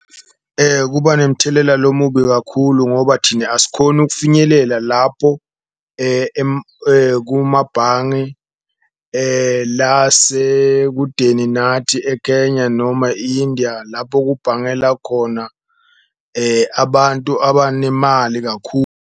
Kuba nemithelela lomubi kakhulu ngoba thine asikhoni ukufinyelela lapho kumabhange lasekudeni nathi e-Kenya noma i-Indiya, lapho kubhangela khona abantu abanemali .